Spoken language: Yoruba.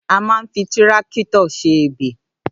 À mà ń fí tírákítọ̀ sẹ ẹbẹ